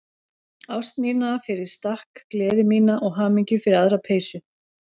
Ást mína fyrir stakk, gleði mína og hamingju fyrir aðra peysu.